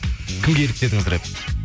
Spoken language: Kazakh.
кімге еліктедіңіз рэп